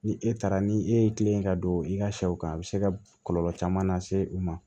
Ni e taara ni e ye kilen ka don i ka sɛw kan a bɛ se ka kɔlɔlɔ caman lase u ma